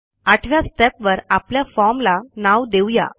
आठव्या Stepवर आपल्या फॉर्म ला नाव देऊ या